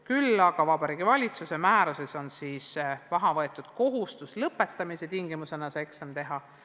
Küll aga on Vabariigi Valitsuse määruses maha võetud kohustus lõpetamise tingimusena eksam teha.